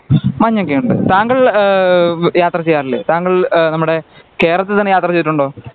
മഞ്ഞൊക്കെ ഉണ്ട് താങ്കൾ ആഹ് യാത്ര ചെയ്യാറില്ല താങ്കൾ ഏഹ് നമ്മുട ഏഹ് കേരളത്തിൽ തന്നെ യാത്ര ചെയ്തിട്ടുണ്ടോ